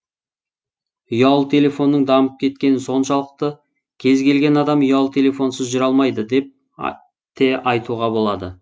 ұялы телефонның дамып кеткені соншалықты кез келген адам ұялы телефонсыз жүре алмайды деп те айтуға болады